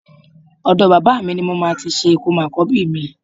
Ọ̀dọ bàbá mi ní mo máa ti ṣe ìkómọ àkọ́bí mi